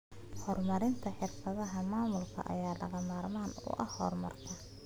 Horumarinta xirfadaha maamulka ayaa lagama maarmaan u ah horumarka.